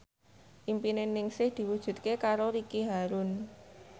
impine Ningsih diwujudke karo Ricky Harun